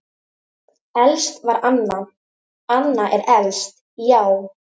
Elst var Anna, Anna er elst, já.